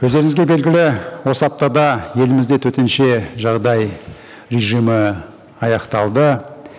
өздеріңізге белгілі осы аптада елімізде төтенше жағдай режимі аяқталды